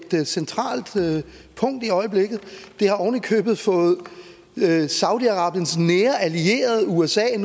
centralt punkt i øjeblikket det har ovenikøbet fået saudi arabiens nære allierede usa